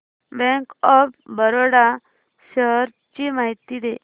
bank of Baroda shares ची माहिती दे